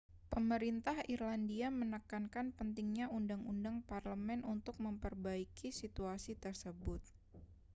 pemerintah irlandia menekankan pentingnya undang-undang parlemen untuk memperbaiki situasi tersebut